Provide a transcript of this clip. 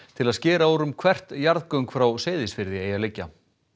til að skera úr um hvert jarðgöng frá Seyðisfirði eigi að liggja